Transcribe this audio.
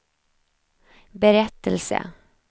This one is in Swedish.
berättelse